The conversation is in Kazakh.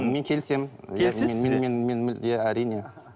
мен келісемін келісесіз бе иә әрине